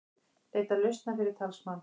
Leita lausna fyrir talsmann